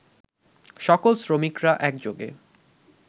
সকল শ্রমিকরা একযোগে